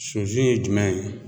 Sunsun ye jumɛn ye